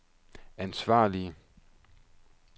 ansvarlige